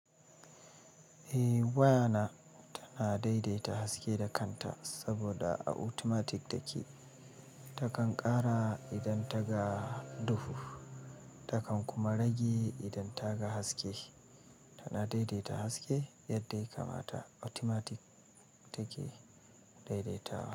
Eh, waya na tana daidaita haske da kanta saboda a automatic take. Takan ƙara idan ta ga duhu, takan kuma rage idan ta ga haske. Tana daidaita haske yadda ya kamata automatic take daidaitawa.